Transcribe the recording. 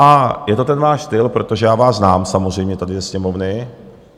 A je to ten váš styl, protože já vás znám samozřejmě tady ze Sněmovny.